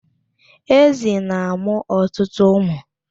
Ezi na-amụ ọtụtụ ụmụ.